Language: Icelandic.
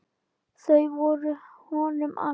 Þau voru honum allt.